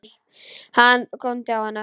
Hann góndi á hana.